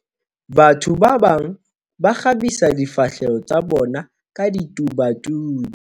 batho ba bang ba kgabisa difahleho tsa bona ka ditobatubi